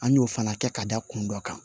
An y'o fana kɛ ka da kun dɔ kan